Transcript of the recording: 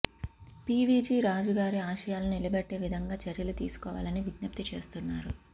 పీవీజీ రాజు గారి ఆశయాలను నిలబెట్టే విధంగా చర్యలు తీసుకోవాలని విజ్ఞప్తి చేస్తున్నారు